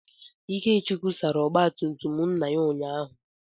Ikechukwu sara ọgba tum tum nna ya ụnyahụ.